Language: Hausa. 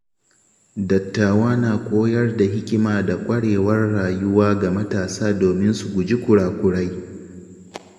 Dattawa na koyar da hikima da ƙwarewar rayuwa ga matasa domin su guji kurakurai.